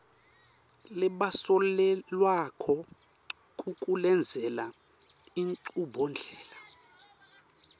labasolelwako kukulendzela inchubondlela